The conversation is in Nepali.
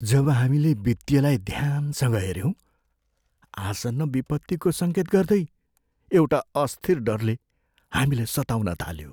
जब हामीले वित्तीयलाई ध्यानसँग हेऱ्यौँ, आसन्न विपत्तिको सङ्केत गर्दै एउटा अस्थिर डरले हामीलाई सताउन थाल्यो।